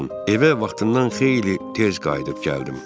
Evə vaxtından xeyli tez qayıdıb gəldim.